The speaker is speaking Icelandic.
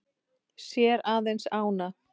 Sér aðeins ána.